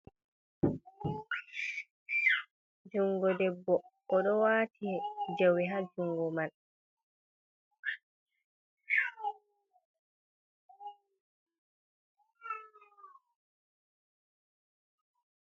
Jungo ɗebbo. oɗo wati jawe ha jungo man.